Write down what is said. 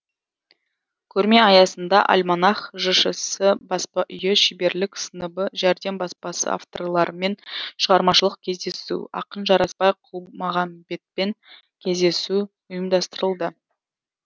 көрме аясында альманах жшс баспа үйі шеберлік сыныбы жәрдем баспасы авторларымен шығармашылық кездесу ақын жарасбай құлмағамбетпен кездесу ұйымдастырылды